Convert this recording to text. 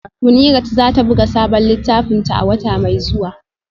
Munirat za ta buga sabon littafinta a wata mai zuwa